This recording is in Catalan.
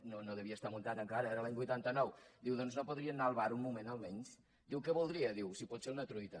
no devia estar muntat encara era l’any vuitanta nou diu doncs no podria anar al bar un moment almenys diu què voldria si pot ser una truita